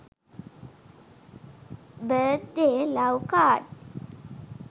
birth day love card